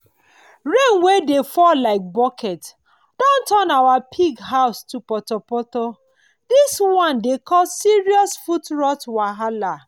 rain wey dey fall like bucket don turn our pig house to potopoto this one dey cause serious foot rot wahala